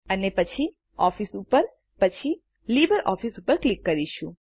અને પછી ઓફિસ ઉપર અને પછી લિબ્રિઓફિસ ઉપર ક્લિક કરીશું